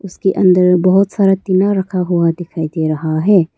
इसके अंदर बहोत सारा टीना रखा हुआ दिखाई दे रहा है।